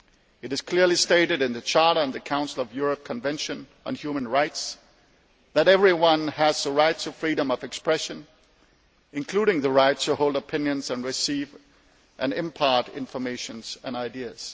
It is clearly stated in the Charter and the Council of Europe's Convention on Human Rights that everyone has the right to freedom of expression, including the right to hold opinions and receive and impart information and ideas.